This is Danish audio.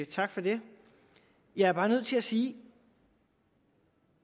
tak for det jeg er bare nødt til at sige